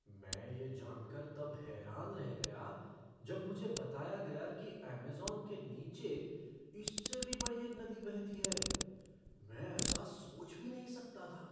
मुझे यह जान कर तब हैरान रह गया जब मुझे बताया गया कि ऐमेज़ॉन के नीचे इससे भी बड़ी एक नदी बहती है। मैं ऐसा सोच भी नहीं सकता था!